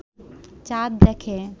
চাঁদ দেখে